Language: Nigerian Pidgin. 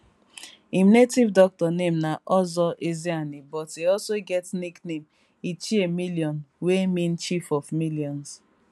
im native doctor name na ozor ezeani but e also get nickname ichie million wey mean chief of millions